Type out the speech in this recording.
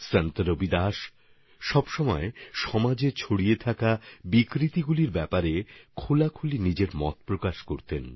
সন্ত রবিদাসজি সমাজে ব্যাপ্ত বিকৃতিগুলি নিয়ে সর্বদা মন খুলে নিজের কথা বলেছেন